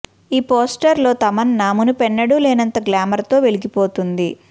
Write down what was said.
ఈ పోస్టర్ లో తమన్నా మునుపెన్నడూ లేనంత గ్లామర్ తో వెలిగిపోతోంది